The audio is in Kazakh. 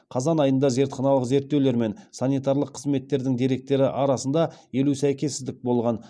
қазан айында зертханалық зерттеулер мен санитарлық қызметтердің деректері арасында елу сәйкессіздік болған